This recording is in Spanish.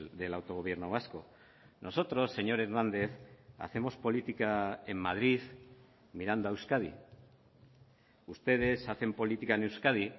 del autogobierno vasco nosotros señor hernández hacemos política en madrid mirando a euskadi ustedes hacen política en euskadi